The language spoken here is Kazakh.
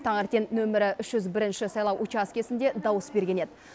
таңертең нөмірі үш жүз бірінші сайлау учаскесінде дауыс берген еді